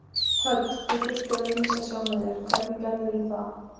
Hödd: Þú þurftir að lýsa sjálfum þér, hvernig gerðirðu það?